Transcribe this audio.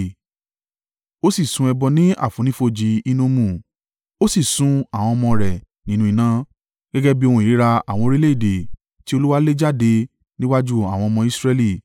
Ó sì sun ẹbọ ní àfonífojì Hinnomu, ó sì sun àwọn ọmọ rẹ̀ nínú iná, gẹ́gẹ́ bí ohun ìríra àwọn orílẹ̀-èdè tí Olúwa lé jáde níwájú àwọn ọmọ Israẹli